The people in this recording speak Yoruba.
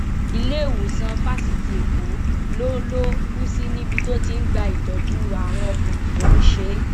iléèwòsàn fásitì èkó ló ló kù sí níbi tó ti ń gba ìtọjú àrùn ọkàn tó ń ṣe é